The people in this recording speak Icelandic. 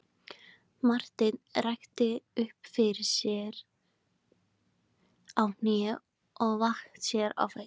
Marteinn rykkti sér upp á hnén og vatt sér á fætur.